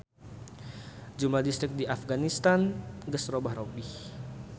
Jumlah distrik di Apganistan geus robah-robih.